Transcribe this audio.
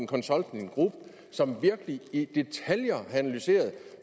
consulting group som virkelig i detaljer har analyseret